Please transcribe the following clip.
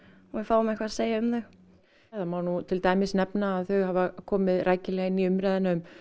og við fáum eitthvað að segja um þau það má nú til dæmis nefna að þau hafa komið rækilega inn í umræðuna um